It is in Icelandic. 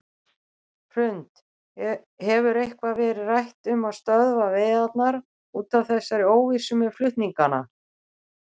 Hrund: Hefur eitthvað verið rætt um að stöðva veiðarnar út af þessari óvissu með flutningana?